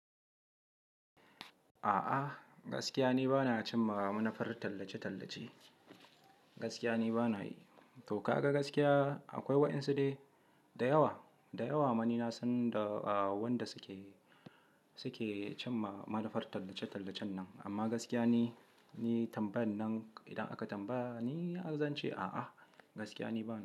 A'a, gaskiya ne ba na cimma manufar tallace-tallace. Gaskiya ne ba na yi. To ka ga gaskiya akwai waɗansu dai da yawa, da yawa ma ni na san da wanda suke, suke cimma manufar tallace-tallacen nan. Amma gaskiya ni, ni tambayan nan idan aka tambaya ni, zan ce a'a, gaskiya ni ba na.